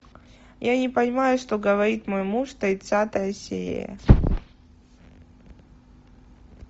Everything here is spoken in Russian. я не понимаю что говорит мой муж тридцатая серия